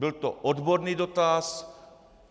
Byl to odborný dotaz.